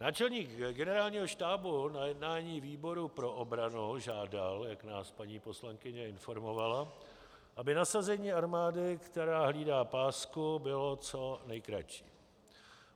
Náčelník Generálního štábu na jednání výboru pro obranu žádal, jak nás paní poslankyně informovala, aby nasazení armády, která hlídá pásku, bylo co nejkratší.